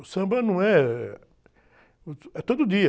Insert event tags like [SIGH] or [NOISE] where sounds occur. O samba não é, eh... [UNINTELLIGIBLE] é todo dia.